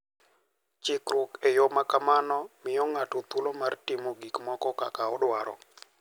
Chiwruok e yo ma kamano miyo ng'ato thuolo mar timo gik moko kaka odwaro.